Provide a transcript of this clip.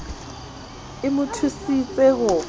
e mo thusitse ho fa